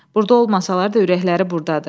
Burda olmasalar da, ürəkləri burdadır.